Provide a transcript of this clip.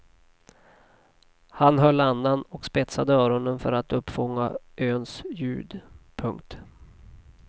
Han höll andan och spetsade öronen för att uppfånga öns ljud. punkt